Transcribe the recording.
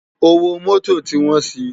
Ówó Mòtó ti wòn si